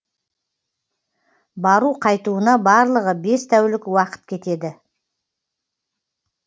бару қайтуына барлығы бес тәулік уақыт кетеді